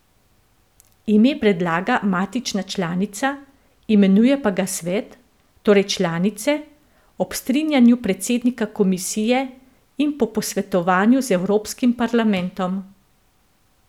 Ime predlaga matična članica, imenuje pa ga Svet, torej članice, ob strinjanju predsednika komisije in po posvetovanju z Evropskim parlamentom.